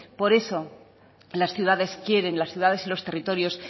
por eso las ciudades quieren las ciudades y los territorios